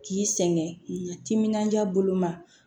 K'i sɛŋɛ timinandiya boloma